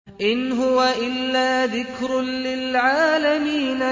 إِنْ هُوَ إِلَّا ذِكْرٌ لِّلْعَالَمِينَ